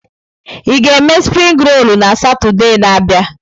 Ị ga-eme springi rolu na Satọde na-abịa?